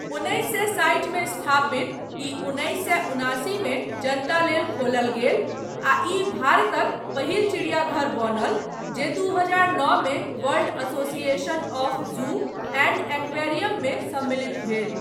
उन्नैस सए साठि मे स्थापित, ई उन्नैस सए उनासी मे जनता लेल खोलल गेल आ ई भारतक पहिल चिड़ियाघर बनल जे दू हजार नओ मे world association of zoo and एक्वेरियममे सम्मिलित भेल।